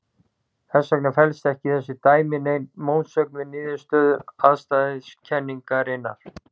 Þess vegna felst ekki í þessu dæmi nein mótsögn við niðurstöður afstæðiskenningarinnar.